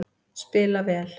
Spila vel